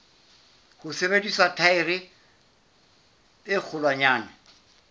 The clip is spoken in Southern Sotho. ho sebedisa thaere e kgolwanyane